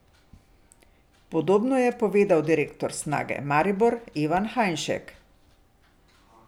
Podobno je povedal direktor Snage Maribor Ivan Hajnšek.